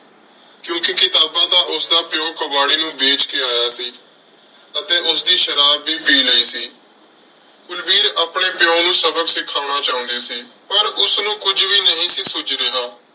ਕਿਉਂਕਿ ਕਿਤਾਬਾਂ ਤਾਂ ਉਸਦਾ ਪਿਉ ਕਬਾੜੀ ਨੂੰ ਵੇਚ ਕੇ ਆਇਆ ਸੀ ਅਤੇ ਉਸਦੀ ਸ਼ਰਾਬ ਵੀ ਪੀ ਲਈ ਸੀ। ਕੁਲਵੀਰ ਆਪਣੇ ਪਿਉ ਨੂੰ ਸਬਕ ਸਿਖਾਉਣਾ ਚਾਹੁੰਦੀ ਸੀ। ਪਰ ਉਸਨੂੰ ਕੁੱਝ ਵੀ ਨਹੀਂ ਸੀ ਸੁੱਝ ਰਿਹਾ।